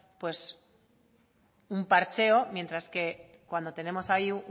un parcheo mientras que cuando tenemos ahí